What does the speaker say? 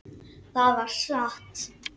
Það var satt.